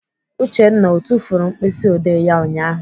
Uchenna ọ tufuru mkpịsịodee ya ụnyaahụ?